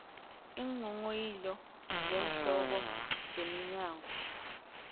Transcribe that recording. iinghonghoyilo zeenhloko zeminyango